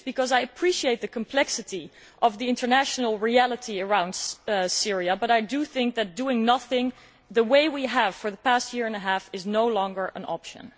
I appreciate the complexity of the international reality around Syria but I do think that doing nothing the way we have for the past year and a half is no longer an option.